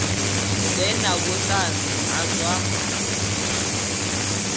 ḓe na vhuṱanzi ha zwa